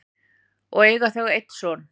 og eiga þau einn son.